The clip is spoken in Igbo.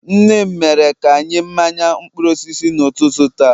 nne m mere ka anyị mmanya mkpụrụ osisi n'ụtụtụ a